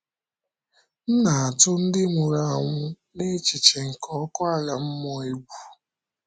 M na - atụ ndị nwụrụ anwụ na echiche nke ọkụ ala mmụọ egwu.